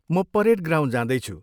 म parade ground जाँदैछु।